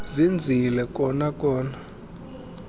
zenzile kona kona